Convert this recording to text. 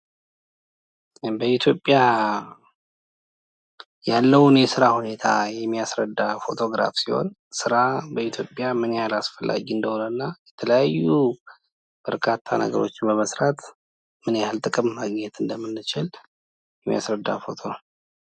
በኢትዮጵያ ያለውን የስራ ሁኔታ የሚያስረዳ ፎቶግራፍ ሲሆን ስራ በኢትዮጵያ ምን ያህል አስፈላጊ እንደሆነ እና የተለያዩ በርካታ ነገሮችን በመስራት ምን ያህል ጥቅም ማግኘት እንደምንችል የሚያስረዳ ፎቶ ነው ።